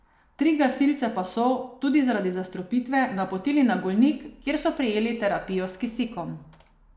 Tri gasilce pa so, tudi zaradi zastrupitve, napotili na Golnik, kjer so prejeli terapijo s kisikom.